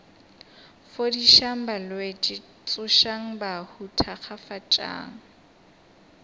fodišang balwetši tsošang bahu thakgafatšang